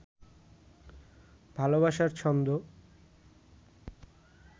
ভালবাসার ছন্দ